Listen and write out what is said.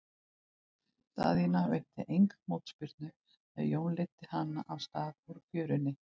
Daðína veitti enga mótspyrnu þegar Jón leiddi hana af stað út fjöruna.